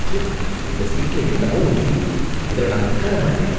த்தூ, இந்த சீட்ல என்னமோ ஒட்டிருக்கு, இதுல நான் உட்கார மாட்டேன்.